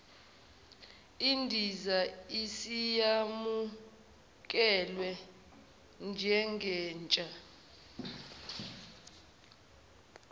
idizayini isiyamukelwe njengentsha